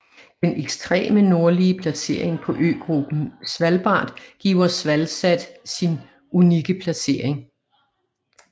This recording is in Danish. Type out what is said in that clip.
Den ekstreme nordlige placering på øgruppen Svalbard giver SvalSat sin unikke placering